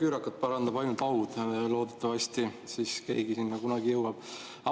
Küürakat parandab ainult haud, loodetavasti siis keegi sinna kunagi jõuab.